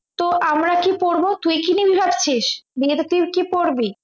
তো আমরা কি পরবো তুই কি নিবি ভাবছিস বিয়েতে তুই কি পরবি